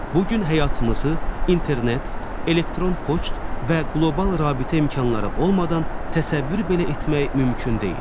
Bu gün həyatımızı internet, elektron poçt və qlobal rabitə imkanları olmadan təsəvvür belə etmək mümkün deyil.